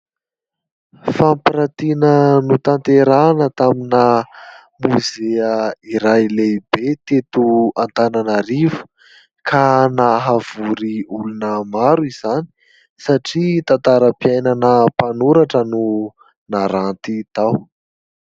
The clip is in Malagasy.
Fampiratiana notanterahina tamina mozia iray lehibe teto Antananarivo ; ka nahavory olona maro izany, satria tantaram-piainana mpanoratra no naranty tao.